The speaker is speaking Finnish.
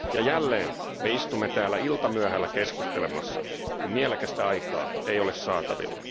Jälleen me istumme täällä iltamyöhällä keskustelemassa, kun mielekästä aikaa ei ole saatavilla.